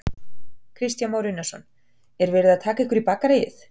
Kristján Már Unnarsson: Var verið að taka ykkur í bakaríið?